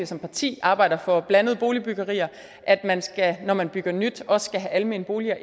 som parti arbejder for at blandede boligbyggerier altså at man når man bygger nyt også skal have almene boliger